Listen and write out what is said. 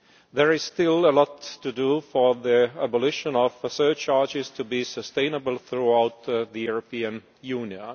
There is still a lot to do for the abolition of surcharges to be sustainable throughout the European Union.